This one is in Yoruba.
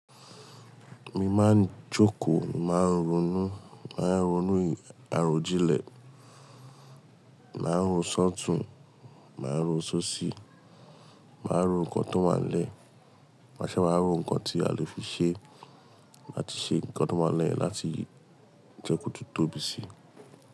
Mi máa ń jókòó, màá ronú, màá ronú àròjinlè, màá ro ṣọtùn, màá ro ṣóṣi, màá ro nǹkan tó n wánlẹ̀, máṣe wa wáa ro nǹkan tí a lè fi ṣe láti ṣe nǹkan tó wánlẹ̀ láti jẹ́ kó tun tóbi síi.